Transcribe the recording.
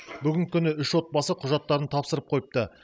бүгінгі күні үш отбасы құжаттарын тапсырып қойыпты